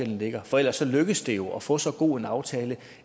ligger for ellers lykkedes det jo at få så god en aftale